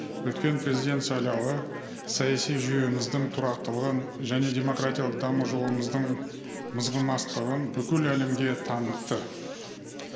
өткен президент сайлауы саяси жүйеміздің тұрақтылығын және демократиялық даму жолымыздың мызғымастығын бүкіл әлемге танытты